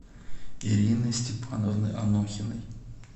ирины степановны анохиной